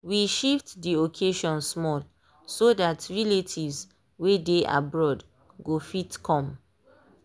we shift dey occasion small so that relatives wey dey abroad go fit come.